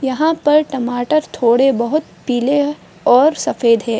यहाँ पर टमाटर थोड़े बहुत पीले है और सफ़ेद है।